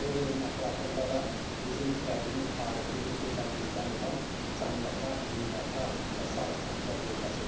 Və o yolun ətrafında da bizim qədimi tarixi yurd yerlərimizdən olan Canyataq, Günyataq və sair kəndlər yerləşir.